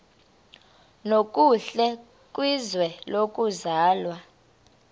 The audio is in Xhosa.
nokuhle kwizwe lokuzalwa